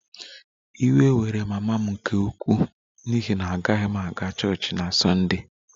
Iwe were mama m nke ukwuu n'ihi na agaghị m aga chọọchị na Sunday